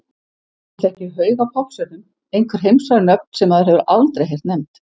Hún þekkir haug af poppstjörnum, einhver heimsfræg nöfn sem maður hefur aldrei heyrt nefnd.